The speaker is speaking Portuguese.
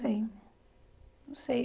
Sei, não sei.